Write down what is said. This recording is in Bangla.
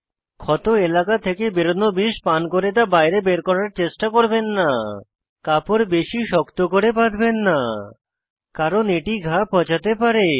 ক্ষত এলাকা থেকে বেরোনো বিষ পান করে তা বাইরে বের করার চেষ্টা করবেন না কাপড় বেশী শক্ত করে বাঁধবেন না কারণ এটি ঘা পচাঁতে পারে